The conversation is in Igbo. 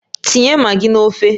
Tinye magi n'ofe!